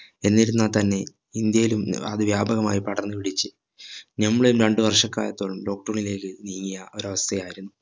എന്നിരുന്നാ തന്നെ ഇന്ത്യയിലും ഏർ അത് വ്യപകമായി പടർന്ന് പിടിച്ച് നമ്മളെയും രണ്ട്‌ വർഷക്കാലത്തോളം lockdown ലേക് നീങ്ങിയ ഒരവസ്ഥയായിരുന്നു